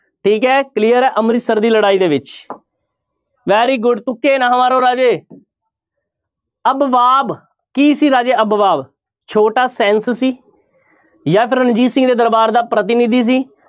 ਠੀਕ ਹੈ clear ਹੈ ਅੰਮ੍ਰਿਤਸਰ ਦੀ ਲੜਾਈ ਦੇ ਵਿੱਚ very good ਤੁੱਕੇ ਨਾ ਮਾਰੋ ਰਾਜੇ ਅਬਵਾਬ ਕੀ ਸੀ ਰਾਜੇ ਅਬਵਾਬ ਛੋਟਾ ਸੀ ਜਾਂਂ ਫਿਰ ਰਣਜੀਤ ਸਿੰਘ ਦੇ ਦਰਬਾਰ ਦਾ ਪ੍ਰਤੀਨਿਧੀ ਸੀ,